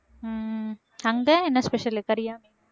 உம் அங்க என்ன special கறியா